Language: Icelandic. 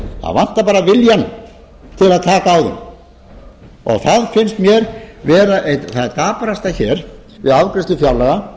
það vantar bara viljann til að taka á þeim það finnst mér vera eitt það daprasta hér við afgreiðslu fjárlaga að